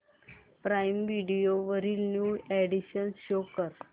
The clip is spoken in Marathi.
प्राईम व्हिडिओ वरील न्यू अॅडीशन्स शो कर